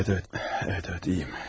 Bəli, bəli, bəli, bəli, yaxşıyam.